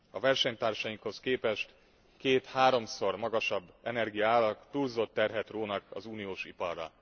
A versenytársainkhoz képest két háromszor magasabb energiaárak túlzott terhet rónak az uniós iparra.